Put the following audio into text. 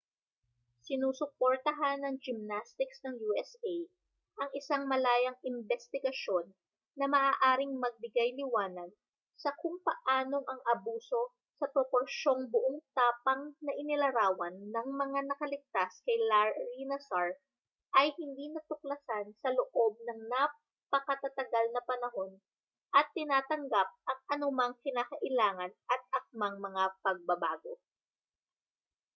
sinusuportahan ng gymnastics ng usa ang isang malayang imbestigasyon na maaaring magbigay-liwanag sa kung paanong ang abuso sa proporsiyong buong tapang na inilarawan ng mga nakaligtas kay larry nassar ay hindi natuklasan sa loob ng napakatatagal na panahon at tinatanggap ang anumang kinakailangan at akmang mga pagbabago